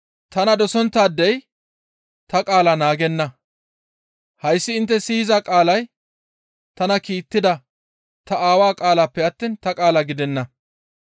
Tana dosonttaadey ta qaala naagenna; hayssi intte siyiza qaalay tana kiittida ta Aawa qaalappe attiin ta qaala gidenna.